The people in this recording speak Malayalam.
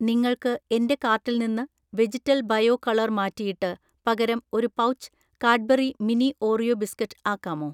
നിങ്ങൾക്ക് എന്‍റെ കാർട്ടിൽ നിന്ന് വെജിറ്റൽ ബയോ കളർ മാറ്റിയിട്ട് പകരം ഒരു pouch Cadbury mini Oreo biscuit ആക്കാമോ?